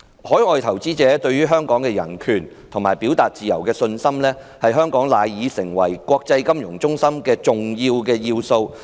海外投資者對香港的人權和表達自由的信心，是香港賴以成為國際金融中心的重要元素。